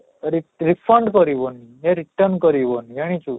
re refund କରିବନି କି return କରିବନି ଜାଣିଛୁ